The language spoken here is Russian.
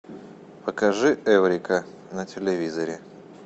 покажи эврика на телевизоре